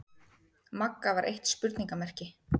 Magga var eitt spurningarmerki.